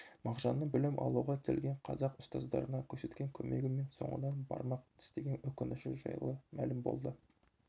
мағжанның білім алуға келген қазақ ұстаздарына көрсеткен көмегі мен соңынан бармақ тістеген өкініші жайлы мәлім болды